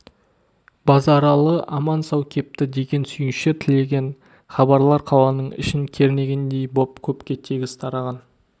базаралы аман-сау кепті деген сүйінші тілеген хабарлар қаланың ішін кернегендей боп көпке тегіс тараған